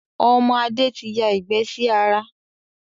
Ọmọ Adé tí ya ìgbẹ́ sí ara